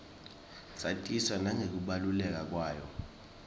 satiswa nangekubaluleka kwayo